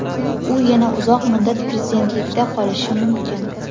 U yana uzoq muddat prezidentlikda qolishi mumkin.